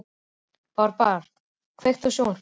Barbára, kveiktu á sjónvarpinu.